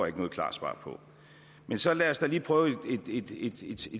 ikke noget klart svar på men så lad os da lige prøve et